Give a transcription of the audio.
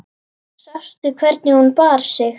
Sástu hvernig hún bar sig.